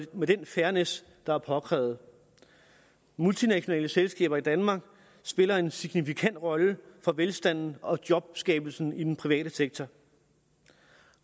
med den fairness der er påkrævet multinationale selskaber i danmark spiller en signifikant rolle for velstanden og jobskabelsen i den private sektor